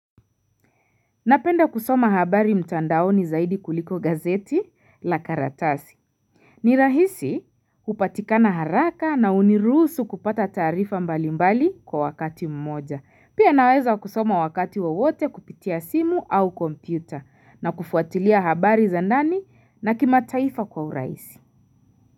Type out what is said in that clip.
Napenda kusoma habari mtandaoni zaidi kuliko gazeti la karatasi. Ni rahisi upatikana haraka na uniruhusu kupata taarifa mbali mbali kwa wakati mmoja. Pia naweza kusoma wakati wowote kupitia simu au kompyuta na kufuatilia habari za ndani na kimataifa kwa urahisi.